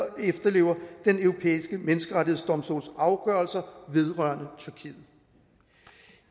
og efterlever den europæiske menneskerettighedsdomstols afgørelser vedrørende tyrkiet